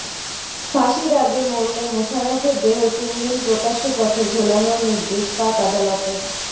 ফাঁসির আগে মরলে মুশারফের দেহ তিনদিন প্রকাশ্য পথে ঝোলানোর নির্দেশ পাক আদালতের